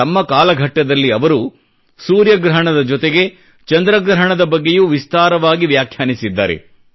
ತಮ್ಮ ಕಾಲಘಟ್ಟದಲ್ಲಿ ಅವರು ಸೂರ್ಯಗ್ರಹಣದ ಜೊತೆಗೆ ಚಂದ್ರಗ್ರಹಣದ ಬಗ್ಗೆಯೂ ವಿಸ್ತಾರವಾಗಿ ವ್ಯಾಖ್ಯಾನಿಸಿದ್ದಾರೆ